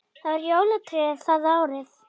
Það var jólatré það árið.